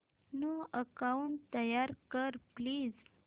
new account तयार कर please